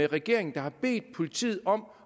regeringen der har bedt politiet om